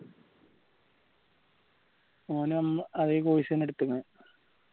ഓനും ഉം അതേ course എന്നെ എടുത്തക്കണേ